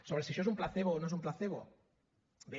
sobre si això és un placebo o no és un placebo bé